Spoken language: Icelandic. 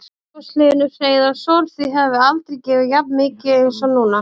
Magnús Hlynur Hreiðarsson: Þið hafið aldrei gefið jafn mikið eins og núna?